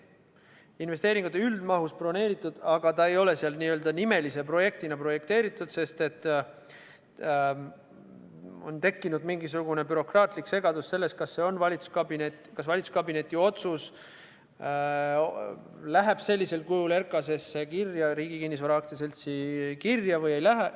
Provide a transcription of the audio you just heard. See on investeeringute üldmahust broneeritud, aga see ei ole seal n-ö nimelise projektina projekteeritud, sest on tekkinud mingisugune bürokraatlik segadus selle üle, kas valitsuskabineti otsus läheb sellisel kujul Riigi Kinnisvara AS-i kirja või ei lähe.